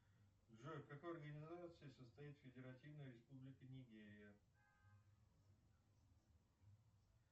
джой в какой организации состоит федеративная республика нигерия